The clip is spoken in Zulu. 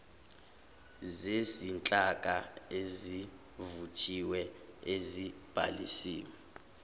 zezinhlaka esezivuthiwe ezibhalisiwe